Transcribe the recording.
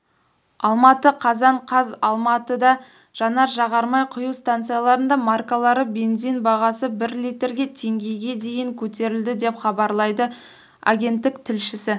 алматы қазан қаз алматыда жанар-жағармай құю станцияларында маркалы бензин бағасы бір литрге теңгеге дейін көтерілді деп хабарлайды агенттік тілшісі